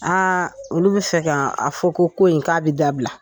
A olu bɛ fɛ ka a fɔ ko ko in k'a bɛ dabila